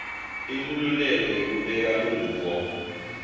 inkhululeko yekubeka luvo